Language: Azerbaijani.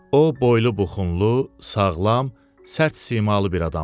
O boylu buxunlu, sağlam, sərt simalı bir adamdır.